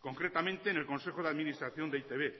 concretamente en el consejo de administración de e i te be